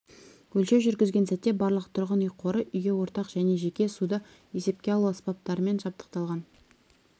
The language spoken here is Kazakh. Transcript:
өлшеу жүргізген сәтте барлық тұрғын үй қоры үйге ортақ және жеке суды есепке алу аспаптарымен жабдықталған